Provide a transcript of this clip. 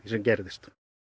sem gerðist